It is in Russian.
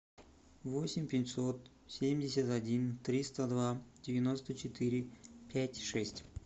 восемь пятьсот семьдесят один триста два девяносто четыре пять шесть